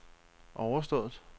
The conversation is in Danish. overstået